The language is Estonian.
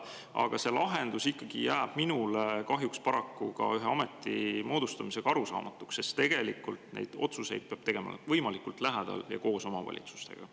Aga kahjuks see lahendus jääb minule paraku ka ühe ameti moodustamise korral arusaamatuks, sest tegelikult peab neid otsuseid tegema võimalikult lähedal ja koos omavalitsustega.